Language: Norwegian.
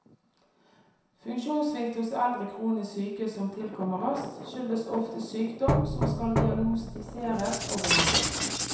Funksjonssvikt hos eldre kronisk syke som tilkommer raskt, skyldes oftest sykdom, som skal diagnostiseres og behandles.